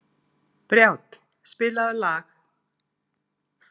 Brjánn, spilaðu lag.